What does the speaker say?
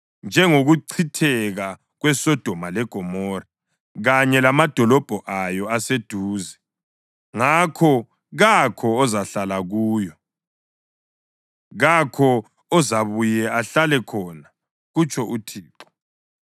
Njengokuchitheka kweSodoma leGomora, kanye lamadolobho awo ayeseduze, ngakho kakho ozahlala kuyo, kakho ozabuye ahlale khona” kutsho uThixo.